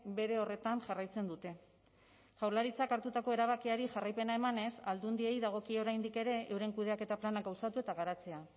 bere horretan jarraitzen dute jaurlaritzak hartutako erabakiari jarraipena emanez aldundiei dagokie oraindik ere euren kudeaketa plana gauzatu eta garatzea